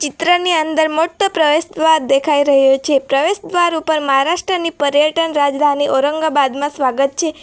ત્રની અંદર મોટુ પ્રવેશદ્વાર દેખાઈ રહયું છે પ્રવેશદ્વાર ઉપર મહારાષ્ટ્રની પર્યટન રાજધાની ઔરંગાબાદમાં સ્વાગત છે --